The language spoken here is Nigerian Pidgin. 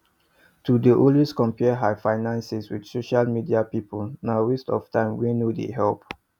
to dey always compare her finances with social media people na waste of time wey no dey help